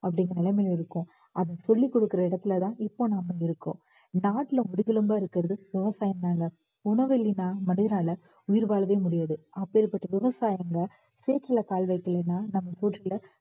அப்படிங்கிற நிலைமையில இருக்கோம். அத சொல்லிக் கொடுக்கிற இடத்துலதான் இப்ப நாம இருக்கோம். நாட்டுல முதுகெலும்பா இருக்கிறது விவசாயம் தாங்க உணவில்லைன்னா மனிதனால உயிர் வாழவே முடியாது அப்பேர்ப்பட்ட விவசாயிங்க சேற்றுல கால் வைக்கலன்னா நாம சோற்றுல